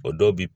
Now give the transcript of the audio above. O dɔw bi